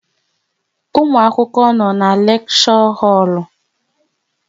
Ụmụ akwụkwọ nọ n'leksho holu